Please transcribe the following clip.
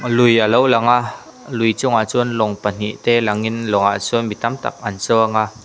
lui alo lang a lui chungah chuan lawng pahnih te langin lawng ah chuan mi tam tak an chuang a.